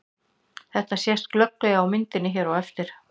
Þetta sést glöggt á myndinni hér á eftir.